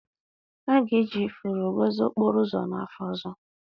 A ga-eji ifuru gọzie okporo ụzọ n'afọ ọzọ